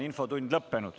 Infotund on lõppenud.